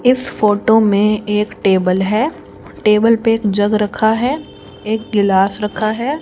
इस फोटो में एक टेबल है टेबल पे एक जग रखा है एक गिलास रखा है।